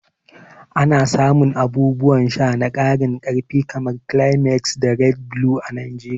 Ana samun abubuwan sha na karin karfi kamar Climax da Red Blue a Najeriya.